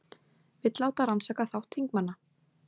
Vill láta rannsaka þátt þingmanna